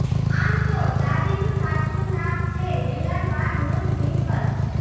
આમ તો દાદીનું સાચું નામ છે હેલન વાન રુથ વિન્કલ